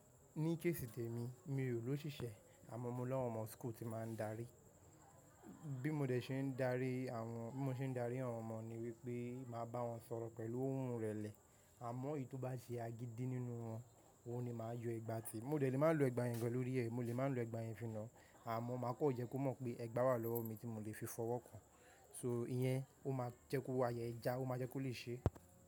Ní kéèsì tèmi, mi ò ló ṣìṣẹ́ àmọ́ mo ní àwọn ọmọ school ti máa ń darí. Bí mo dẹ̀ ṣe ń darí àwọn, bí mo ṣe ń darí àwọn ọmọ níwípé máa bá wọn sọ̀rọ̀ pẹ̀lú ohùn ìrẹ̀lẹ̀. Àmọ́ èyí tó bá se agídí nínú wọn, òun ni màá yọ ẹgba tí. Mo dẹ̀ lè máa lo ẹgba yẹn gan lóri ẹ̀, mo lè máa lo ẹgba yẹn fi nàá. Àmọ́ máa kàn jẹ́ kó mọ̀ pé ẹgba wà lọ́wọ́ mi tí mo lè fi fọwọ́ kàn-án. So ìyẹn ó máa jẹ́ kó àyà ẹ já, ó máa jẹ́ kó lè ṣé.